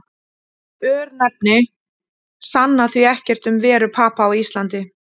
örnefni sanna því ekkert um veru papa á íslandi